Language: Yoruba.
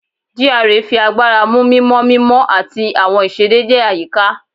GRA fi agbara mu mimọ mimọ ati awọn iṣedede ayika